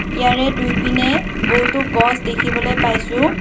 ইয়াৰে দুই পিনে বহুতো গছ দেখিবলৈ পাইছোঁ।